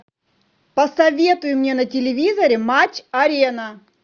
посоветуй мне на телевизоре матч арена